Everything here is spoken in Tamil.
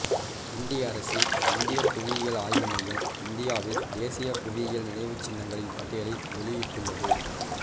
இந்திய அரசின் இந்தியப் புவியியல் ஆய்வு மையம் இந்தியாவில் தேசிய புவியியல் நினைவுச்சின்னங்களின் பட்டியலை வெளியிட்டுள்ளது